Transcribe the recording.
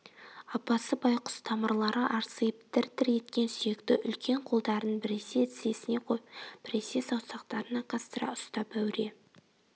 апасы байқұс тамырлары арсиып дір-дір еткен сүйекті үлкен қолдарын біресе тізесіне қойып біресе саусақтарын айқастыра ұстап әуре